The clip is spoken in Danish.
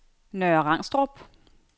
Nørre Rangstrup